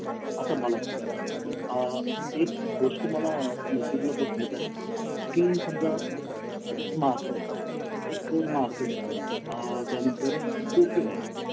आता मला सांग एक गोष्ट youtube ला बघण्या झाली की समजा माझं हे एक माकड आहे अ त्यानंतर नंतर कुठे आहे